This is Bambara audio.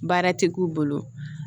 Baara ti k'u bolo